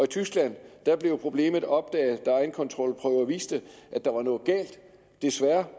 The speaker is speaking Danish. tyskland blev problemet opdaget da egenkontrolprøver viste at der var noget galt desværre